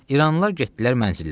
İranlılar getdilər mənzillərinə.